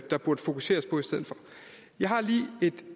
der burde fokuseres på i stedet for jeg har lige et